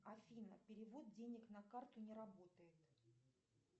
афина перевод денег на карту не работает